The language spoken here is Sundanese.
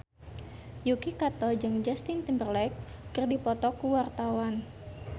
Yuki Kato jeung Justin Timberlake keur dipoto ku wartawan